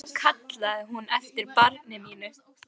Og nú kallaði hún eftir barni mínu.